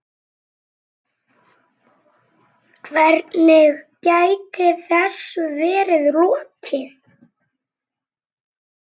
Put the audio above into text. Hvernig gæti þessu verið lokið?